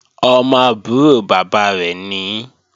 Ọmọ àbúrò bàbá rẹ̀ nìí